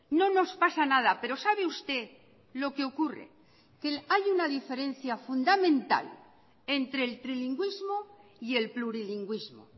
no nos pasa nada pero sabe usted lo que ocurre que hay una diferencia fundamental entre el trilingüismo y el plurilingüismo